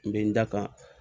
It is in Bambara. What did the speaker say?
N bɛ n da kan